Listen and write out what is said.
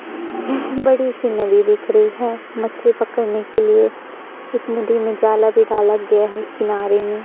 बड़ी सी नदी दिख रही है मछली पकड़ने के लिए इस नदी में जाला भी डाला गया है किनारे में --